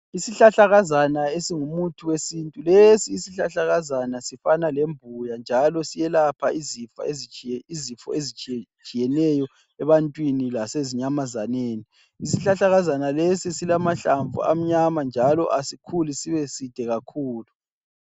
Isihlahlakazana esingumuthi wesintu, lesi isihlahlakazana sifana lembuya njalo siyelapha izifo ezitshiyetshiyeneyo ebantwini lasezinyamazananeni. Izihlahlakazana lezo silamahlamvu amnyama njalo asikhuli sibe side kakhulu.